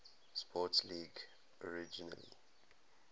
sports league originally